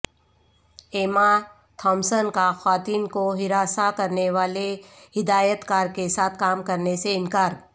ایما Thompson کا خواتین کو ہراساں کرنیوالے ہدایتکار کیساتھ کام کرنے سے انکار